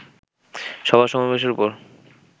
সভা-সমাবেশের ওপর